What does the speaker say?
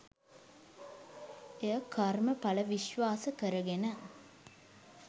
එය කර්ම ඵල විශ්වාස කරගෙන